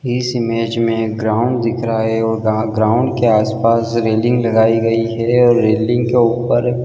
इस इमेज में एक ग्राउंड दिख रहा है। और गा ग्राउंड के आस पास रेलिंग लगाईं गई है। और रेलिंग के ऊपर--